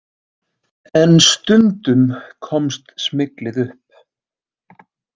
En stundum komst smyglið upp.